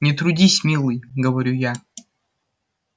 не трудись милый говорю я